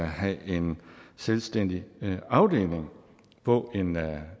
have en selvstændig afdeling på en